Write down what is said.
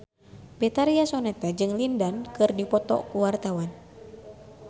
Betharia Sonata jeung Lin Dan keur dipoto ku wartawan